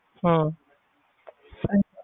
ਹਮ